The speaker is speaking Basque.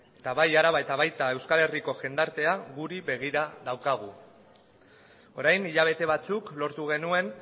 eta bai araba eta baita euskal herriko jendartea ere guri begira daukagu orain hilabete batzuk lortu genuen